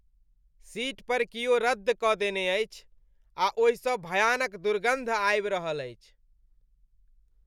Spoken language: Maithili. सीट पर कियो रदद क देने अछि आ ओहिसँ भयानक दुर्गन्ध आबि रहल अछि।